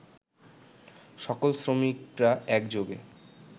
সকল শ্রমিকরা একযোগে